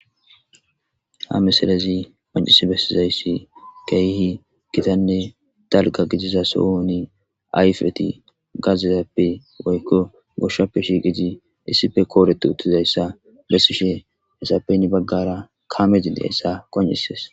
ha meselezi qoncis bessizayssi keehi gitanne dalga gidiza sohuni ayfeti gazizappe woykko goshshappe shiiqiti issife kooretu uttizayssa bessishe hesappeni baggara kamedindayssa qoncises